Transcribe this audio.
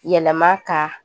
Yɛlɛma ka